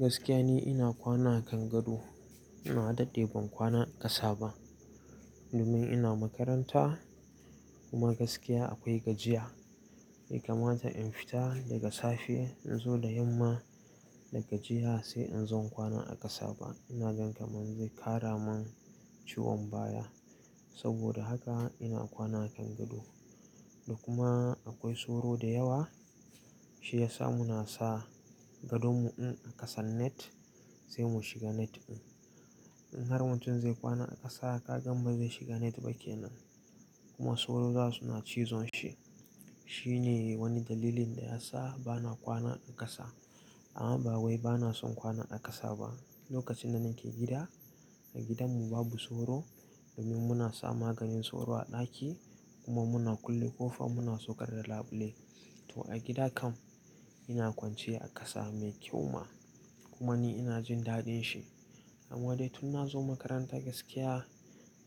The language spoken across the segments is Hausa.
Gaskiya ne ina kwana akan gado. Na daɗɗe ban kwana a ƙasa ba domin ina makaranta kuma gaskiya akwai gajiya. Bai kamata in fita daga safe in zo da yamma da gajiya sai in zo in kwana a ƙasa ba. Ina gan kamar zai ƙara min ciwon baya. Saboda haka ina kwana a kangado. Da kuma akwai soro da yawa shi yasa muna sa gadon mu in a ƙasan net sai mu shiga net din. In har mutum zai kwana a ƙasa, kagan bazai shiga net ba kenan. Kuma soro za su na cizon shi. Shi ne wani dalilin da ya sa bana kwana a ƙasa. Amma ba wai bana son kwana a ƙasa ba. Lokacin da nake gida, a gidanmu babu soro domin muna sa maganin soro a ɗaki kuma muna kulle ƙofa muna saukar da labule. To a gida kam ina kwanciya a ƙasa mai kyau ma kuma ni ina jin daɗin shi. Amma dai tun na zo makaranta gaskiya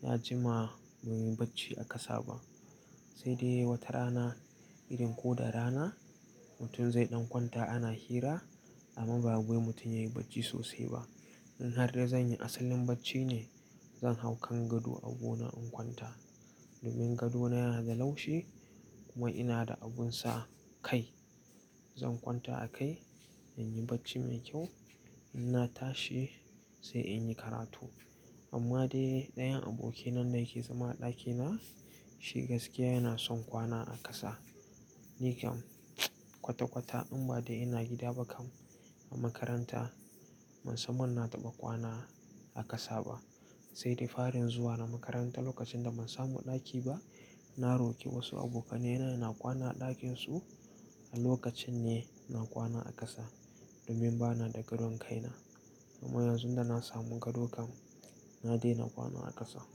ya jima ban yi bacci a ƙasa ba. Sai dai wata rana, idan ko da rana mutum zai ɗan kwanta ana hira amma ba wai mutum ya yi bacci sosai ba. In har dai zan yi asalin bacci ne, zan hau kan gado abuna in kwanta. Domin gado na yana da laushi kuma ina da abun sa kai. Zan kwanta a kai in yi bacci mai kyau, in na tashi sai in yi karatu. Amma dai ɗayan abokina da yake zama a ɗakina shi gaskiya yana son kwana a ƙasa. Ni kam kwata-kwata in ba dai ina gida ba kam a makaranta ban san ina taɓa kwana a ƙasa ba. Sai dai farin zuwa na makaranta lokacin da ban samu ɗaki ba, na roƙi wasu abokanena na kwana a ɗakin su. A lokacin ne na kwana a ƙasa domin bana da gadon kai na. Amma yanzu da na samu gado kam na daina kwana a ƙasa.